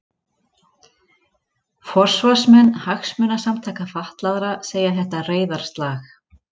Forsvarsmenn hagsmunasamtaka fatlaðra segja þetta reiðarslag